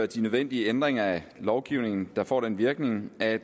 de nødvendige ændringer af lovgivningen der får den virkning at i